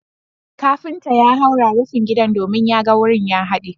kafinta ya haura rufin gidan domin ya ga wurin ya hade